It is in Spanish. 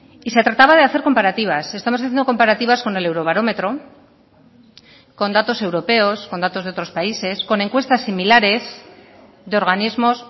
y se trataba de hacer comparativas estamos haciendo comparativas con el eurobarómetro con datos europeos con datos de otros países con encuestas similares de organismos